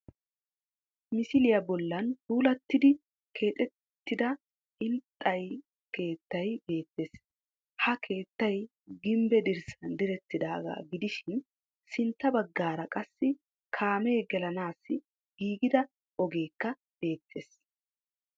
Misiliya bollan puulattidi keexettida inxxay keettay beettees Ha keettay gimbbe dirssan direttidaagaa giishin sintta baggaara qassi kaamee gelanaassi giigida ogeekka beettees